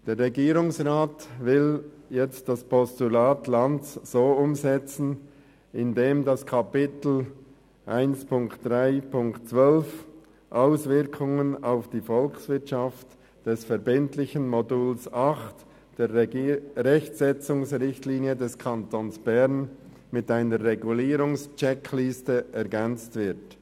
Der Regierungsrat will jetzt das Postulat Lanz so umsetzen, dass das Kapitel 3.1.12 «Auswirkungen auf die Volkswirtschaft» des verbindlichen Moduls 8 der Rechtsetzungsrichtlinie des Kantons Bern mit einer Regulierungscheckliste ergänzt wird.